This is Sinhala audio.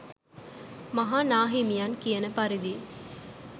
මහා නා හිමියන් කියන පරිදි